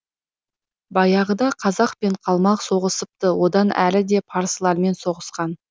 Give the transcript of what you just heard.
баяғыда қазақ пен қалмақ соғысыпты одан әріде парсылармен соғысқан